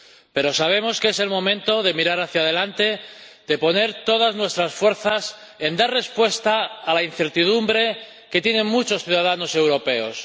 Pero sabemos que es el momento de mirar hacia delante, de poner todas nuestras fuerzas en dar respuesta a la incertidumbre que tienen muchos ciudadanos europeos.